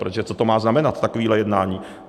Protože co to má znamenat, takové jednání?